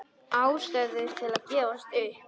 Ástæður til að gefast upp?